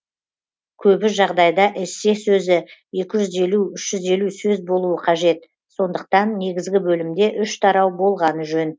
көбі жағдайда эссе сөзі екі жүз елу үш жүз елу сөз болуы қажет сондықтан негізгі бөлімде үш тарау болғаны жөн